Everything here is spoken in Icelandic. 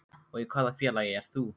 Og í hvaða félagi ert þú?